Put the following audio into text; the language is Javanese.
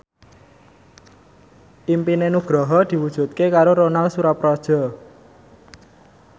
impine Nugroho diwujudke karo Ronal Surapradja